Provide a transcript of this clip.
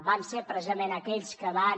van ser precisament aquells que van